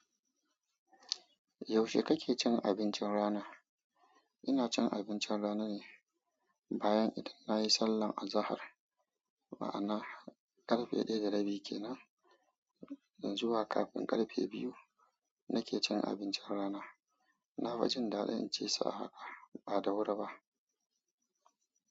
Yaushe kake cin abincin rana? Ina cin abincin rana ne bayan idan nayi sallah azahar, ma'ana ƙarfe ɗaya da rabi kenan zuwa kafin ƙarfe biyu nake cin abincin rana. Na fi jin dadin in cisu a hankali bada wuri ba.